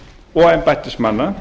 og embættismanna